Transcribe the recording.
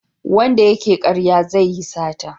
Wanda ya ke karya zai yi sata